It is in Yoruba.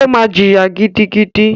O ma ji ìyà gidigidi.